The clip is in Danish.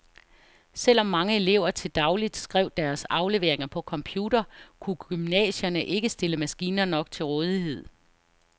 Selvom mange elever til dagligt skrev deres afleveringer på computer, kunne gymnasierne ikke stille maskiner nok til rådighed.